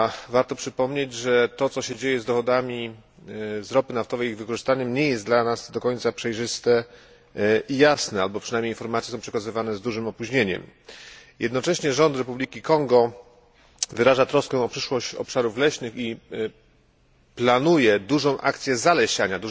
Warto przypomnieć, że to, co się dzieje z dochodami z ropy naftowej i z ich wykorzystaniem nie jest dla nas do końca przejrzyste i jasne, albo przynajmniej informacje są przekazywane z dużym opóźnieniem. Jednocześnie rząd Republiki Konga wyraża troskę o przyszłość obszarów leśnych i planuje dużą akcję zalesiania.